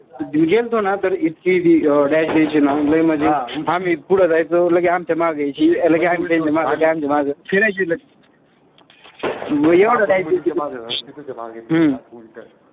गेल्तो ना तर इतकी ती dash द्यायची ना, म्हणजे आम्ही पुढं जायचो लगेच त मागे यायची लगेच आम्ही त्यांच्या मागं फिरायची. म एवढा dash